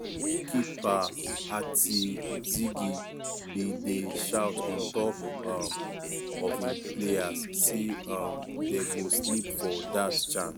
keeper ati-zigi bin dey shout on top um of im players say um dey go sleep for dat chance.